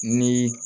Ni